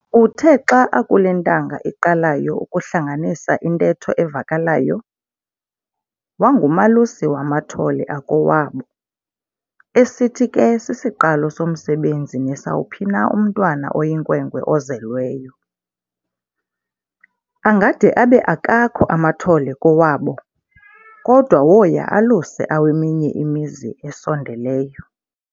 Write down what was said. Uthe xa akule ntanga iqalayo ukuhlanganisa intetho evakalayo, wangumalusi wamathole akowabo, esithi ke sisiqalo somsebenzi nesawuphina umntwana oyinkwenkwe ozelweyo. Angade abe akakho amathole kowabo, kodwa woya aluse aweminye imizi esondeleyo.